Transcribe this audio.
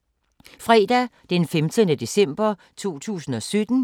Fredag d. 15. december 2017